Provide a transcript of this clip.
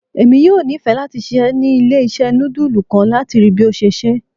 Emi yoo nifẹ lati ṣiṣẹ ni ile-iṣẹ nudulu kan, lati rii bi o ṣe ṣe